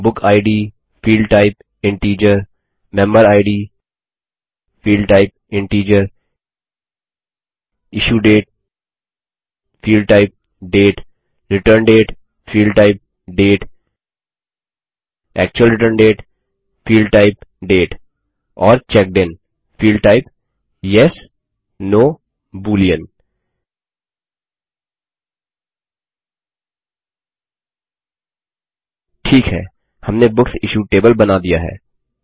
book id field type integer member id Field type integer issue date field type date return date field type date actual return date field type date और checked in field type yesनो boolean ठीक है हमने books issued table बना दिया है